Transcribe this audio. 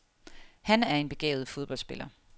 Han er en begavet fodboldspiller.